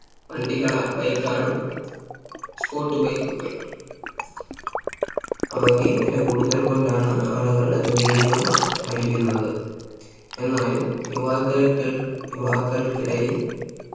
വണ്ടികളാ Bike ആണ് Sports bike കൾ അവയ്ക്ക് വില കൂടുതൽ കൊണ്ടാണ് ആളുകൾ അത് വേടിക്കാൻ മടിക്കുന്നത് എന്നാലും യുവാക്കൾക്കൾ യുവാക്കൾക്കിടയിൽ